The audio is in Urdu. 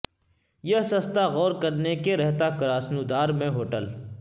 یہ سستا غور کرنے کے رہتا کراسنودار میں ہوٹل